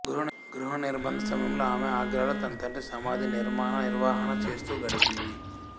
గృహనిర్భంధ సమయంలో ఆమె ఆగ్రాలో తనతండ్రి సమాధి నిర్మాణ నిర్వహణ చేస్తూ గడిపింది